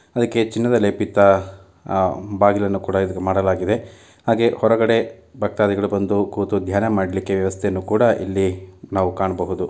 ಅದಕ್ಕೆ ಚಿನ್ನದ ಲೇಪಿತ ಬಾಗಿಲನ್ನು ಕೂಡ ಇಲ್ಲಿ ಮಾಡಲಾಗಿದೆ ಹಾಗೆ ಹೊರಗಡೆ ಭಕ್ತಾಧಿಗಳು ಬಂದು ಕೂತು ಧ್ಯಾನ ಮಾಡ್ಲಿಕ್ಕೆ ವ್ಯವಸ್ಥೆಯನ್ನು ಕೂಡ ಇಲ್ಲಿ ನಾವು ಕಾಣಬಹುದು.